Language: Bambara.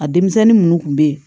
A denmisɛnnin minnu tun bɛ yen